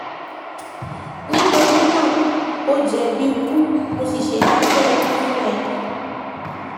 nítorí náà ó jẹ̀bi ikú mo sì ṣèdájọ́ ikú fún ẹ